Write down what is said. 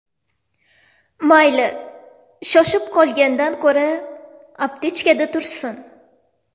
Mayli, shoshib qolgandan ko‘ra, aptechkada tursin!